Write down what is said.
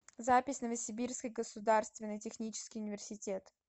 запись новосибирский государственный технический университет